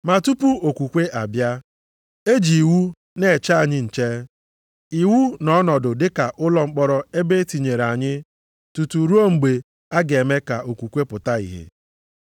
Ma tupu okwukwe abịa, e ji iwu na-eche anyị nche. Iwu nọ ọnọdụ dị ka ụlọ mkpọrọ ebe e tinyere anyị tutu ruo mgbe a ga-eme ka okwukwe pụta ìhè.